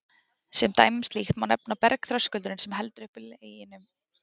Sem dæmi um slíkt má nefna að bergþröskuldurinn, sem heldur uppi Leginum á